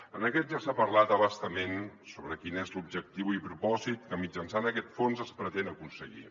en aquest ja s’ha parlat a bastament sobre quins són l’objectiu i el propòsit que mitjançant aquest fons es pretenen aconseguir